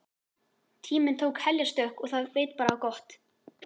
Tíminn tók heljarstökk og það veit bara á gott.